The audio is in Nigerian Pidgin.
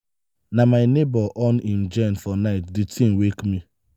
na my nebor on im generator for night di tin wake me.